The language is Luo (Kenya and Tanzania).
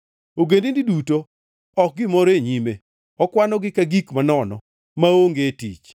Ogendini duto ok gimoro e nyime, okwanogi ka gik manono, maonge tich.